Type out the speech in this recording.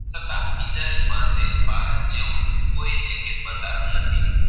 છતા ઈધાયે પાસે ભારત જેવું કોઈ લેખિક ભનધાર નથી.